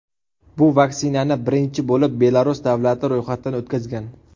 Bu vaksinani birinchi bo‘lib Belarus davlati ro‘yxatdan o‘tkazgan.